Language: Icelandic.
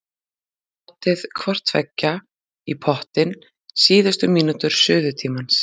Látið hvort tveggja í pottinn síðustu mínútur suðutímans.